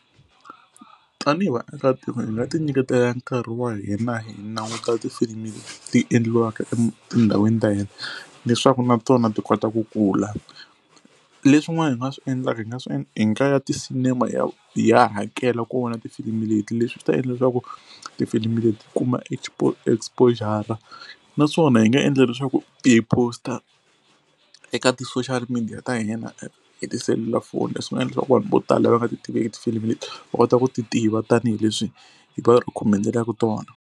Tanihi vaakatiko hi nga ti nyiketela nkarhi wa hina hi languta tifilimi leti endliwaka etindhawini ta hina leswaku na tona ti kota ku kula. Leswin'wana hi nga swi endlaka hi nga swi endla hi nga ya ti-cinema hi ya hi ya hakela ku vona tifilimi leti. Leswi swi ta endla leswaku tifilimi leti kuma export exposure-ra naswona hi nga endla leswaku ti hi post-a eka ti-social media ta hina hi tiselulafoni, leswi nga endla leswaku vanhu vo tala va nga ti tiveki tifilimi leti va kota ku ti tiva tanihileswi hi va recommend-elaku tona.